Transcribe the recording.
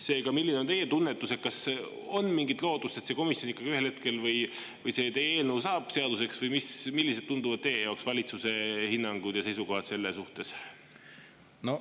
Seega, milline on teie tunnetus, kas on mingit lootust, et see teie eelnõu ikkagi ühel hetkel saab seaduseks, või millised tunduvad teie jaoks valitsuse hinnangud ja seisukohad selles suhtes?